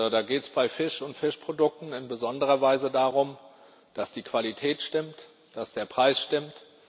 Da geht es bei Fisch und Fischprodukten in besonderer Weise darum, dass die Qualität stimmt und dass der Preis stimmt.